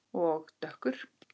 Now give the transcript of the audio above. Og dökkur.